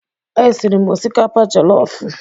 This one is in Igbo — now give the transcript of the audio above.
E siri m osikapa jelofụ.